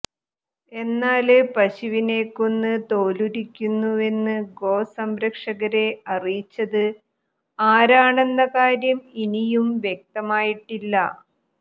എന്നാല് പശുവിനെ കൊന്ന് തോലുരിക്കുന്നുവെന്ന് ഗോ സംരക്ഷകരെ അറിയിച്ചത് ആരാണെന്ന കാര്യം ഇനിയും വ്യക്തമായിട്ടില്ല